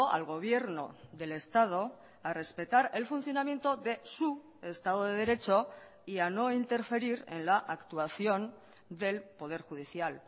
al gobierno del estado a respetar el funcionamiento de su estado de derecho y a no interferir en la actuación del poder judicial